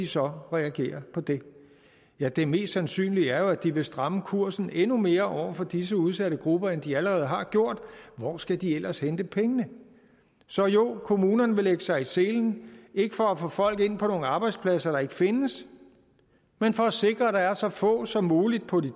så reagere på det ja det mest sandsynlige er jo at de vil stramme kursen endnu mere over for disse udsatte grupper end de allerede har gjort hvor skal de ellers hente pengene så jo kommunerne vil lægge sig i selen ikke for at få folk ind på nogle arbejdspladser der ikke findes men for at sikre at der er så få som muligt på de